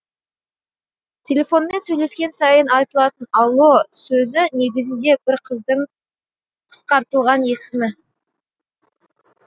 телефонмен сөйлескен сайын айтылатын алло сөзі негізінде бір қыздың қысқартылған есімі